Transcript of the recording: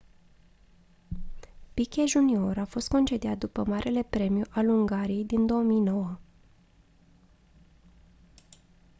piquet jr a fost concediat după marele premiu al ungariei din 2009